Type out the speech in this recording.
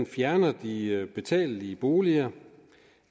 fjerner de betalelige boliger